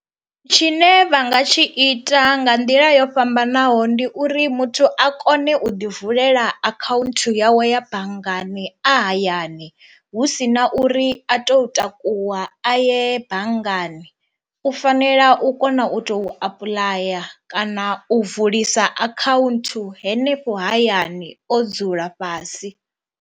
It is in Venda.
Tshine vha nga tshi ita nga nḓila yo fhambanaho ndi uri muthu a kone u ḓi vulela akhaunthu yawe ya banngani a hayani hu si na uri a to takuwa a ye banngani u fanela u kona u to apuḽaya kana u vulisa akhaunthu henefho hayani o dzula fhasi.